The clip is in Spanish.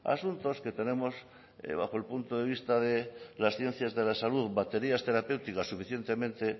asuntos que tenemos bajo el punto de vista de las ciencias de la salud baterías terapéuticas suficientemente